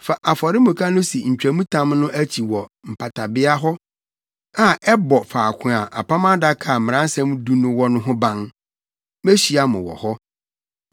Fa afɔremuka no si ntwamtam no akyi wɔ mpatabea hɔ a ɛbɔ faako a Apam Adaka a Mmaransɛm Du no wɔ no ho ban. Mehyia mo wɔ hɔ.